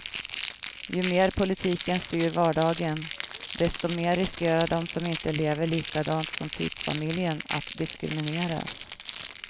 Ju mer politiken styr vardagen, desto mer riskerar de som inte lever likadant som typfamiljen att diskrimineras.